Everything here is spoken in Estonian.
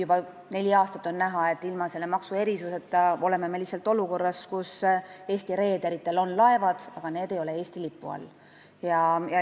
Juba neli aastat on näha, et ilma selle maksuerisuseta oleme me lihtsalt olukorras, kus Eesti reederitel on laevad, aga need ei ole Eesti lipu all.